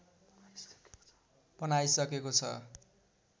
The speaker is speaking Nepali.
बनाइसकेको छ